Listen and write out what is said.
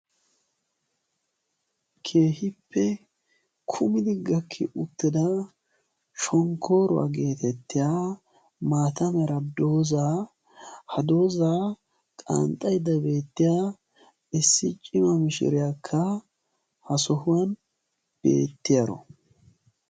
Keehippe kumidi gakki uttida shonkkoruwaa geettetiyaa maataa mera doozaa ha doozaa qanxxayda beettiyaa issi cimaa mishiriyakka ha sohuwaan beettiyaaro.